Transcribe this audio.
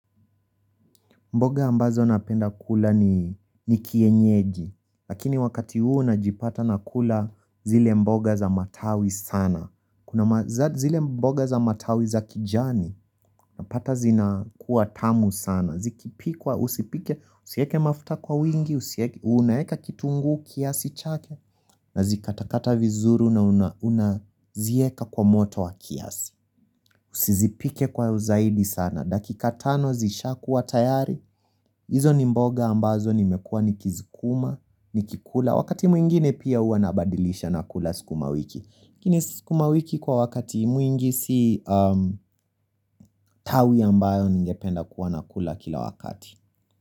Mboga ambazo napenda kula ni kienyeji, lakini wakati huu na jipata na kula zile mboga za matawi sana. Kuna majani zile mboga za matawi za kijani, napata zina kuwa tamu sana. Zikipikwa, usipike, usieke mafuta kwa wingi, usieke, unaeka kitungu kiasi chake, na zikatakata vizuru na una zieka kwa moto wa kiasi. Usizipike kwa uzaidi sana. Dakika tano zishakuwa tayari. Izo ni mboga ambazo nimekua ni kizikuma, ni kikula. Wakati mwingine pia huwa nabadilisha nakula sikuma wiki. Lakini sukuma wiki kwa wakati mwingi si tawi ambayo ningependa kuwa nakula kila wakati.